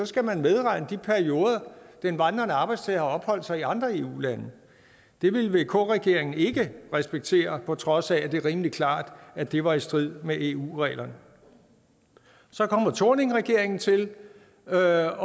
skal man medregne de perioder den vandrende arbejdstager har opholdt sig i andre eu lande det ville vk regeringen ikke respektere på trods af at det var rimelig klart at det var i strid med eu reglerne så kom thorningregeringen til og jeg